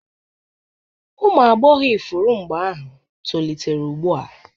ụmụ agbọghọ ifuru mgbe ahụ tolitere ugbu a